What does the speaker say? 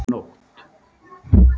Nótt